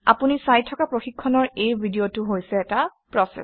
আপুনি চাই থকা প্ৰশিক্ষণৰ এই ভিডিঅটো হৈছে এটা প্ৰচেচ